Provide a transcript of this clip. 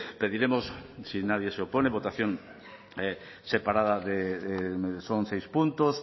pediremos si nadie se opone votación separada de son seis puntos